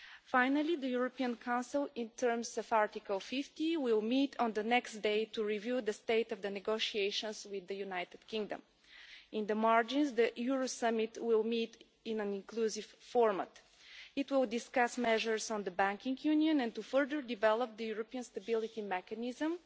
Finally, the European Council, in terms of Article 50, will meet on the next day to review the state of the negotiations with the United Kingdom. In the margins, the Euro Summit will meet in an inclusive format. It will discuss measures on the Banking Union and to further develop the European Stability Mechanism,